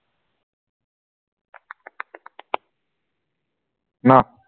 ন